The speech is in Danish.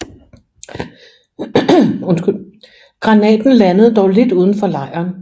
Granaten landede dog lidt uden for lejren